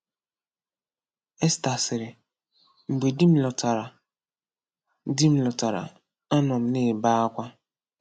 Esta sịrị: “Mgbe di m lọtara, di m lọtara, anọ m na-ebe akwa.